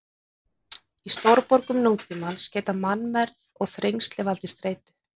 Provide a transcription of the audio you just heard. Í stórborgum nútímans geta mannmergð og þrengsli valdið streitu.